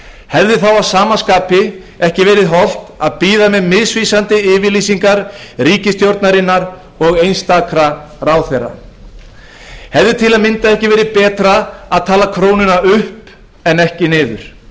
hefði þá ekki að sama skapi verið holt að bíða með misvísandi yfirlýsingar ríkisstjórnarinnar og einstakra ráðherra hefði til að mynda ekki verið betra að tala krónuna upp en ekki niður